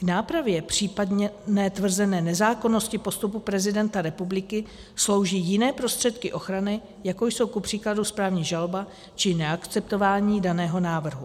K nápravě, případně ne tvrzené nezákonnosti postupu prezidenta republiky slouží jiné prostředky ochrany, jako jsou kupříkladu správní žaloba či neakceptování daného návrhu.